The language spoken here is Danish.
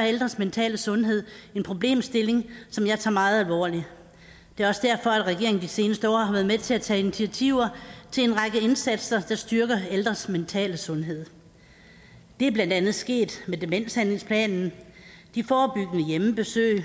ældres mentale sundhed en problemstilling som jeg tager meget alvorligt det er også derfor at regeringen i de seneste år har været med til at tage initiativer til en række indsatser der styrker ældres mentale sundhed det er blandt andet sket med demenshandlingsplanen de forebyggende hjemmebesøg